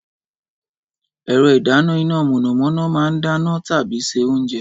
Ẹ̀rọ ìdáná iná mọ̀nàmọ́ná máa ń dáná tàbí ṣe oúnjẹ.